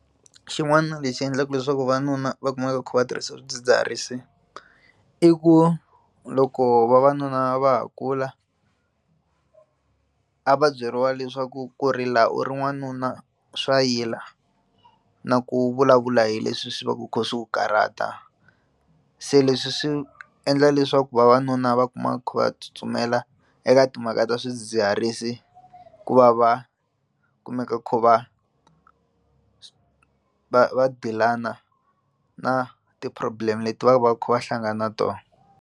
Xin'wana lexi endlaka leswaku vavanuna va kumeka va kha va tirhisa swidzidziharisi i ku loko vavanuna va ha kula a va byeriwa leswaku ku rila u ri wanuna swa yila na ku vulavula hi leswi swi va ku swi kha swi ku karata se leswi swi endla leswaku vavanuna va kuma va tsutsumela eka timhaka ta swidzidziharisi ku va va kumeka va kha va va va deal-ana na ti problem leti va va kha va hlangana tona.